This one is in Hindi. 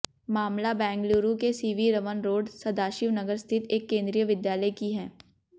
मामला बेंगलुरु के सीवी रमन रोड सदाशिव नगर स्थित एक केंद्रीय विद्यालय की है